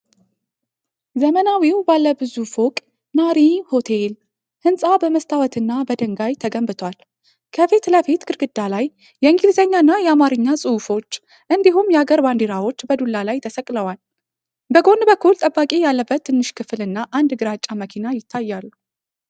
ዘመናዊው ባለ ብዙ ፎቅ "ናሪ ሆቴል" ሕንፃ በመስታወትና በድንጋይ ተገንብቷል። ከፊት ለፊት፣ ግድግዳ ላይ የእንግሊዝኛና የአማርኛ ጽሑፎች እንዲሁም የአገር ባንዲራዎች በዱላ ላይ ተሰቅለዋል። በጎን በኩል ጠባቂ ያለበት ትንሽ ክፍል እና አንድ ግራጫ መኪና ይታያሉ።